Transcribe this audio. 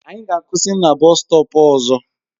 Anyị ga-akwụsị na bọstọp ọzọ.